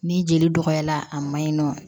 Ni jeli dɔgɔyara a ma ɲi nɔ